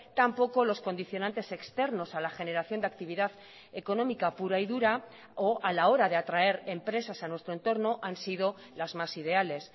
tampoco los condicionantes externos a la generación de actividad económica pura y dura o a la hora de atraer empresas a nuestro entorno han sido las más ideales